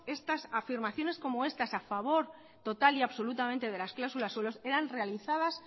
estas afirmaciones como estas a favor total y absolutamente de las cláusulas suelo eran realizadas